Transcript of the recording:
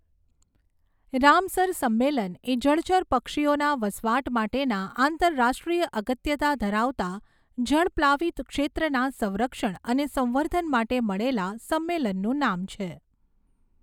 Ramsar સંમેલન એ જળચર પક્ષીઓના વસવાટ માટેના આંતરરાષ્ટ્રીય અગત્યતા ધરાવતા જળપ્લાવીત ક્ષેત્રના સંરક્ષણ અને સંવર્ધન માટે મળેલા સંમેલનનું નામ છે.